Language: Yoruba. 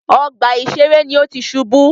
Ọgbà ìṣeré ní o tí ṣubú.